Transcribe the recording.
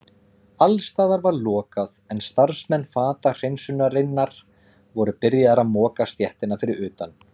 Alls staðar var lokað en starfsmenn fatahreinsunarinnar voru byrjaðir að moka stéttina fyrir utan.